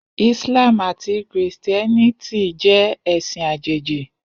Islam ati Kristiẹniti jẹ ẹsin ajeji.